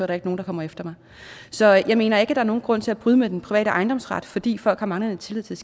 der ikke nogen der kommer efter mig så jeg mener ikke at der er nogen grund til at bryde med den private ejendomsret fordi folk har manglende tillid til